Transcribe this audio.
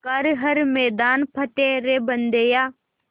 कर हर मैदान फ़तेह रे बंदेया